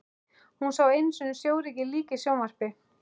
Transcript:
Hún sá einu sinni sjórekið lík í sjónvarpi.